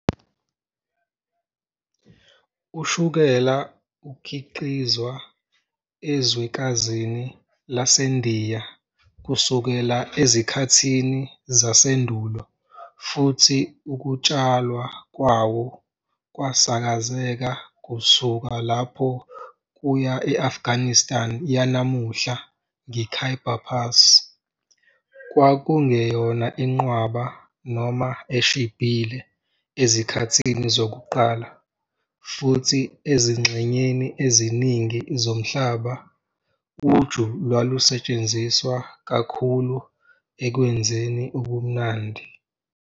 Ushukela ukhiqizwa ezwekazini laseNdiya kusukela ezikhathini zasendulo futhi ukutshalwa kwawo kwasakazeka kusuka lapho kuya e-Afghanistan yanamuhla ngeKhyber Pass. Kwakungeyona inqwaba noma eshibhile ezikhathini zokuqala, futhi ezingxenyeni eziningi zomhlaba, uju lwalusetshenziswa kakhulu ekwenzeni ubumnandi.